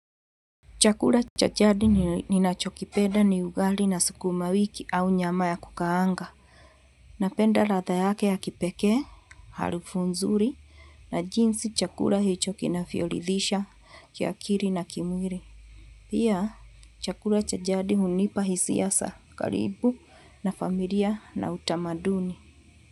Chakula cha jadi ninachokipenda ni ugali na sukuma wiki au nyama ya kukaanga. Napenda ladha yake ya kipekee, harufu nzuri na jinsi chakula hicho kinavyoridhisha kiakili na kimwili. Pia chakula cha jadi hunipa hisia za karibu na familia na utamaduni.